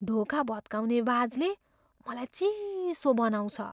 ढोका भत्काउने वाजले मलाई चिसो बनाउँछ।